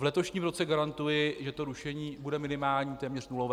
V letošním roce garantuji, že to rušení bude minimální, téměř nulové.